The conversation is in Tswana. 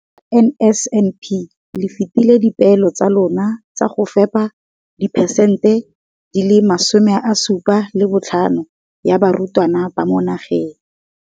Ka NSNP le fetile dipeelo tsa lona tsa go fepa masome a supa le botlhano a diperesente ya barutwana ba mo nageng.